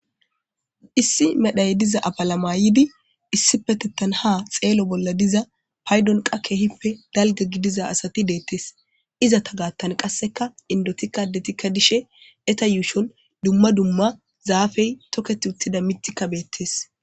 Issi medhdoy diza afala mayidii issipetetan ha xello bolla diza paydonkka keehippe dalgga gidiza asati de'etes izetta gathan qasekka indettikka addettikka dishe eetta yuushshon dumma dumma zaafey toketi uuttidii miiththikka beettes